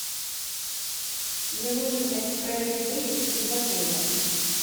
мне нужен экспресс выезд из отеля